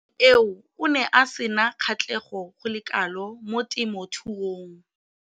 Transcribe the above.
Mo nakong eo o ne a sena kgatlhego go le kalo mo temothuong.